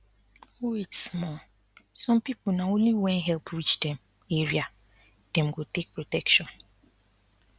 wait small some people na only when help reach dem area dem go take protection